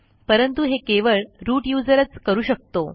परंतु हे केवळ रूट userच करू शकतो